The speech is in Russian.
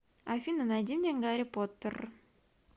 афина найди мне гарри поттер